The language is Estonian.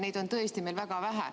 Neid on tõesti meil väga vähe.